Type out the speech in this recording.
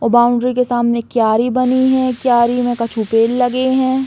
और बॉउंड्री के सामने कियारी बनी है। कियारी में कछु पेड़ लगे हैं।